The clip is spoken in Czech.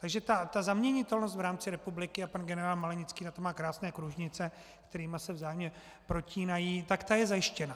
Takže ta zaměnitelnost v rámci republiky, a pan generál Malenický na to má krásné kružnice, které se vzájemně protínají, tak ta je zajištěna.